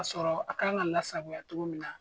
Ka sɔrɔ a kanɲe ka lasagoya togo min na.